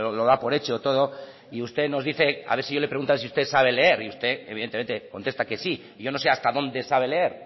lo da por hecho todo y usted nos dice a ver si yo le pregunto a ver si usted sabe leer y usted evidentemente contesta que sí y yo no sé hasta dónde sabe leer